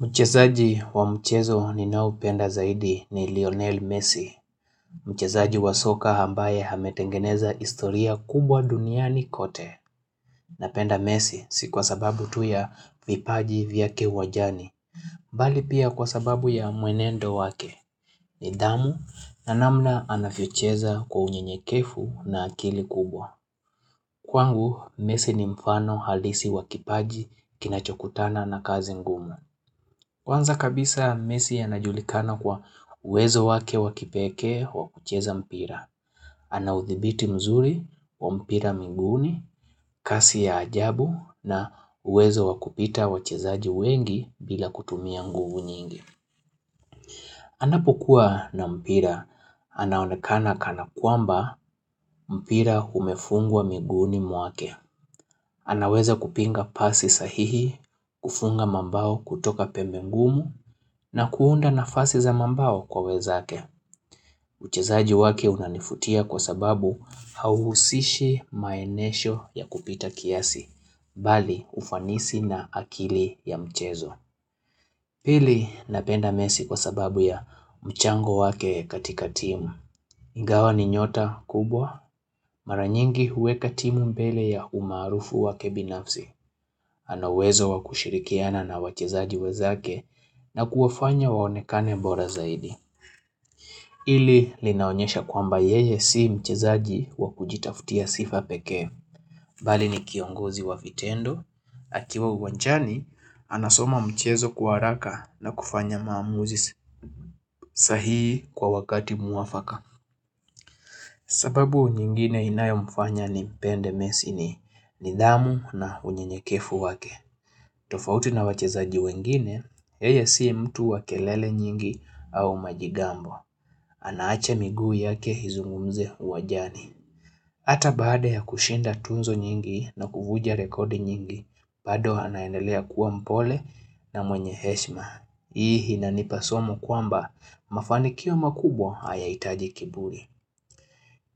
Mchezaji wa mchezo ninaoupenda zaidi ni Lionel Messi. Mchezaji wa soka ambaye ametengeneza historia kubwa duniani kote. Napenda Messi si kwa sababu tu ya vipaji vyake uwanjani. Bali pia kwa sababu ya mwenendo wake. Nidhamu na namna anavyocheza kwa unyenyekevu na akili kubwa. Kwangu, Messi ni mfano halisi wa kipaji kinachokutana na kazi ngumu. Kwanza kabisa Messi anajulikana kwa uwezo wake wa kipekee wa kucheza mpira. Ana uthibiti mzuri wa mpira miguuni, kasi ya ajabu na uwezo wakupita wachezaji wengi bila kutumia nguvu nyingi. Anapokuwa na mpira, anaonekana kana kwamba mpira umefungwa miguuni mwake. Anaweza kupinga pasi sahihi, kufunga mambao kutoka pembe ngumu na kuunda nafasi za mambao kwa wenzake. Uchezaji wake unanivutia kwa sababu hauhusishi maenesho ya kupita kiasi, bali ufanisi na akili ya mchezo. Pili napenda Messi kwa sababu ya mchango wake katika timu. Ingawa ni nyota kubwa, mara nyingi huweka timu mbele ya umaarufu wake binafsi. Ana uwezo wa kushirikiana na wachezaji wenzake na kuwafanya waonekane bora zaidi. Hili linaonyesha kwamba yeye si mchezaji wa kujitaftia sifa pekee. Bali ni kiongozi wa vitendo, akiwa uwanjani, anasoma mchezo kwa haraka na kufanya maamuzi sahihi kwa wakati mwafaka. Sababu nyingine inayomfanya nimpende Messi ni nidhamu na unyenyekevu wake. Tofauti na wachezaji wengine, yeye si mtu wa kelele nyingi au majigambo. Anaacha miguu yake izungumze uwanjani. Hata baada ya kushinda tuzo nyingi na kuvunja rekodi nyingi, bado anaendelea kuwa mpole na mwenye heshima. Hii inanipa somo kwamba mafanikio makubwa hayahitaji kiburi.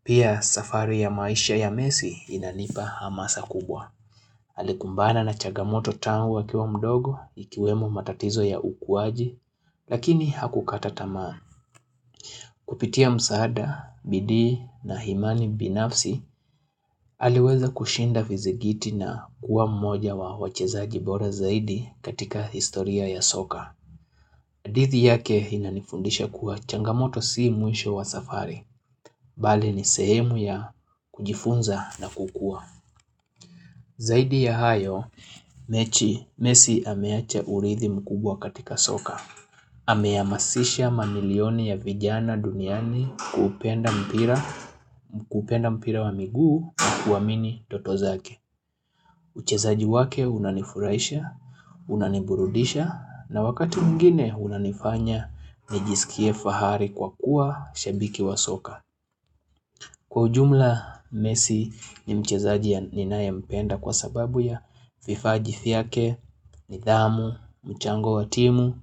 Pia safari ya maisha ya Messi inanipa hamasa kubwa. Alikumbana na chagamoto tangu akiwa mdogo, ikiwemo matatizo ya ukuwaji, lakini hakukata tamaa. Kupitia msaada, bidii na imani binafsi, aliweza kushinda vizigiti na kuwa mmoja wa wachezaji bora zaidi katika historia ya soka. Hadithi yake inanifundisha kuwa changamoto si mwisho wa safari, bali ni sehemu ya kujifunza na kukua. Zaidi ya hayo, Messi ameacha urithi mkubwa katika soka. Amehamasisha mamilioni ya vijana duniani kupenda mpira wa miguu na kuamini ndoto zake. Uchezaji wake unanifurahisha, unaniburudisha na wakati mwingine unanifanya nijisikie fahari kwa kuwa shabiki wa soka. Kwa ujumla Messi ni mchezaji ninayempenda kwa sababu ya vifaji vyake, nidhamu, mchango wa timu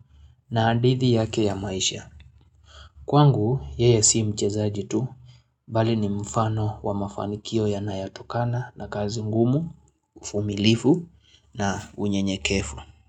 na hadithi yake ya maisha. Kwangu, yeye si mchezaji tu, bali ni mfano wa mafanikio yanayotokana na kazi ngumu, uvumilivu na unyenyekevu.